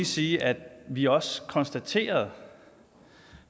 sige at vi også konstaterede